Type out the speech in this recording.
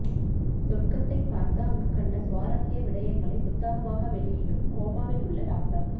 சொர்க்கத்தை பார்த்து அங்கு கண்ட சுவாரசிய விடயங்களை புத்தகமாக வெளியிடும் கோமாவில் உள்ள டாக்டர்